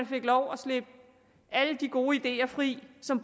fik lov at slippe alle de gode ideer fri som